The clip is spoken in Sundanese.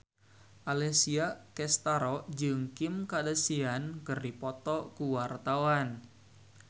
Alessia Cestaro jeung Kim Kardashian keur dipoto ku wartawan